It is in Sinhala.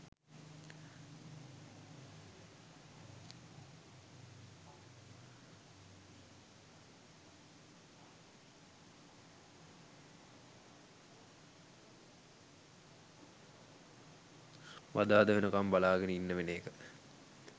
බදාදා වෙනකම් බලාගෙන ඉන්න වෙන එක